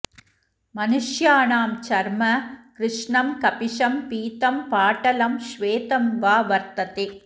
मनुष्याणां चर्म कृष्णं कपिशं पीतं पाटलं श्वेतं वा वर्तते